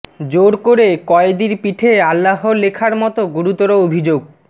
জোর করে কয়েদির পিঠে আল্লাহ লেখার মত গুরুতর অভিযোগ